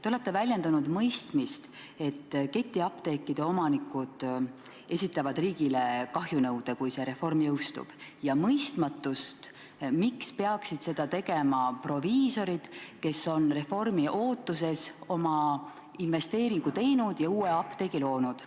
Te olete väljendanud mõistmist, et ketiapteekide omanikud esitavad riigile kahjunõude, kui see reform jõustub, ja mõistmatust, miks peaksid seda tegema proviisorid, kes on reformi ootuses oma investeeringu teinud ja uue apteegi loonud.